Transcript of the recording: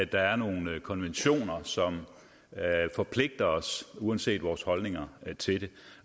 der er nogle konventioner som forpligter os uanset vores holdninger til det